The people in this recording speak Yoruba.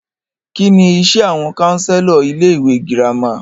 Kínní iṣé àwọn counselor ilé ìwé gírámà?